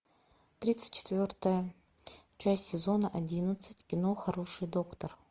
тридцать четвертая часть сезона одиннадцать кино хороший доктор